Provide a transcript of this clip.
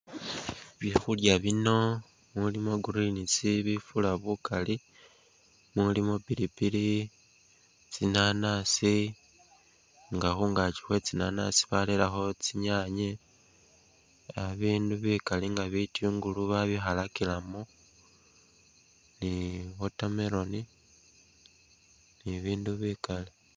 Bifurya bino mulimo greens bifura bukaali, mulimo pilipili, tsinanasi nga khungaaki khwe tsinanasi barerekho tsinyaanye bindu bikaali nga bitungulu babikhalakilemo ni watermelon ni'bindu bikaali